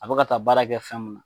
A bɛ ka taa baara kɛ fɛn min na.